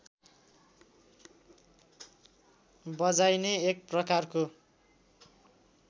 बजाइने एक प्रकारको